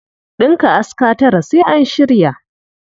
Ɗinka aska tara sai an shirya.